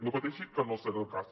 no pateixi que no serà el cas